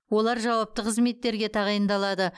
олар жауапты қызметтерге тағайындалады